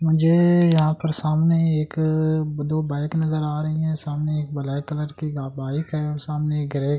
मुझे यहां पर सामने एक दो बाइक नजर आ रही है सामने एक ब्लैक कलर की बाइक है और सामने एक--